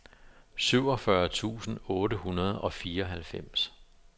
syvogfyrre tusind otte hundrede og fireoghalvfems